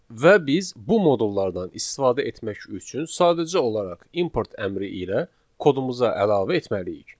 Və biz bu modullardan istifadə etmək üçün sadəcə olaraq import əmri ilə kodumuza əlavə etməliyik.